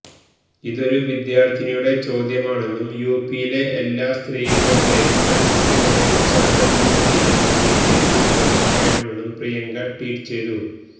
ഇതൊരു വിദ്യാര്ത്ഥിനിയുടെ ചോദ്യമാണെന്നും യുപിയിലെ എല്ലാ സ്ത്രീകളുടെയും പെണ്കുട്ടികളുടെയും ശബ്ദമാണ് ഇതെന്നും ബിജെപി മറുപടി പറയണമെന്നും പ്രിയങ്ക ട്വീറ്റ് ചെയ്തു